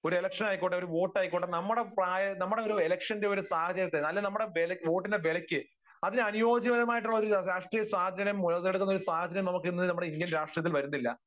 ഒരു ഇലക്ഷനായിക്കോട്ടെ, ഒരു വോട്ടായിക്കോട്ടെ, നമ്മുടെ പ്രായ, നമ്മുടെ ഇലക്ഷന്റെ ഒരു സാഹചര്യത്തെ അല്ലെങ്കിൽ നമ്മുടെ ഒരു വോട്ടിന്റെ വിലയ്ക്ക് അതിനനുയോജ്യമായിട്ടുള്ള ഒരു രാഷ്ട്രീയ സാഹചര്യം മുതലെടുക്കുന്ന ഒരു സാഹചര്യം നമുക്കിന്ന് നമ്മുടെ ഇന്ത്യൻ രാഷ്ട്രീയത്തിൽ വരുന്നില്ല.